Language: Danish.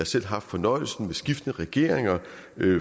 selv haft fornøjelsen sammen med skiftende regeringer